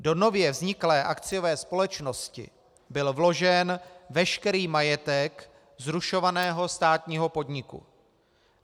Do nově vzniklé akciové společnosti byl vložen veškerý majetek zrušovaného státního podniku.